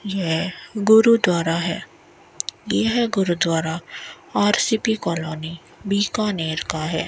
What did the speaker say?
यह गुरुद्वारा है यह gurdwara R C B colony Bikaner का है।